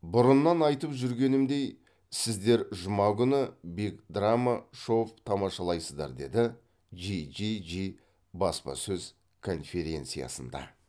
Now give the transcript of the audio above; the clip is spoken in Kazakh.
бұрыннан айтып жүргенімдей сіздер жұма күні биг драма шов тамашалайсыздар деді джиджиджи баспасөз конференциясында